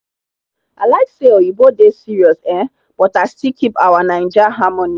i like say oyinbo dey serious um but i still keep our naija harmony.